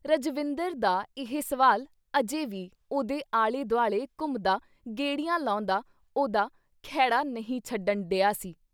ਰਜਵਿੰਦਰ ਦਾ ਇਹ ਸਵਾਲ ਅਜੇ ਵੀ ਉਹਦੇ ਆਲੇ-ਦੁਆਲੇ ਘੁੰਮਦਾ ਗੇੜੀਆਂ ਲਾਉਂਦਾ ਉਹਦਾ ਖਹਿੜਾ ਨਹੀਂ ਛੱਡਣ ਡਿਹਾ ਸੀ।